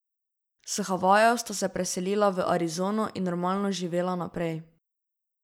S Havajev sta se preselila v Arizono in normalno živela naprej.